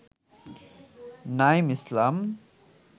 Naim Islam